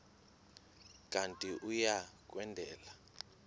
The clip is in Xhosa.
kanti uia kwendela